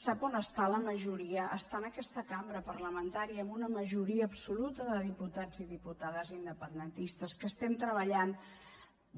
sap on està la majoria està en aquesta cambra parlamentària amb una majoria absoluta de diputats i diputades independentistes que estem treballant